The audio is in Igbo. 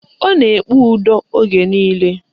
Ọ na-ekpe udo oge niile